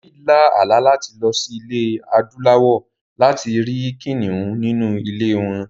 David lá àlá láti lọ sí Ilẹ̀ Adúláwọ̀ láti rí kìnnìún nínú ilé wọn.